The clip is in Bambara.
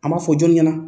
An b'a fɔ jɔn ɲɛna